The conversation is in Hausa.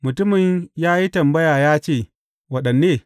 Mutumin ya yi tambaya ya ce, Waɗanne?